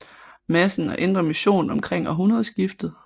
Madsen og Indre Mission omkring århundredskiftet